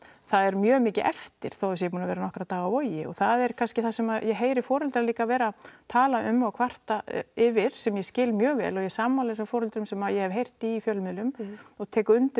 það er mjög mikið eftir þó þau séu búin að vera í nokkra daga á Vogi það er kannski líka það sem ég heyri foreldra líka vera að tala um og kvarta yfir sem ég skil mjög vel ég er sammála þessum foreldrum sem ég hef heyrt í í fjölmiðlum og tek undir